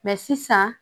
sisan